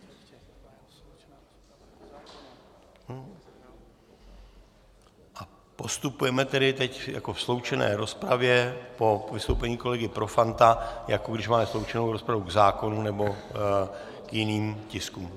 Postupujeme tedy teď jako v sloučené rozpravě po vystoupení kolegy Profanta, jako když máme sloučenou rozpravu k zákonům nebo k jiným tiskům.